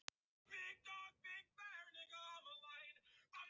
Vígmar, hvenær kemur strætó númer sjö?